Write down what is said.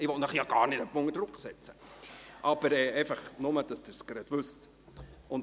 Ich will Sie ja überhaupt nicht unter Druck setzen, aber einfach, damit Sie es gleich wissen!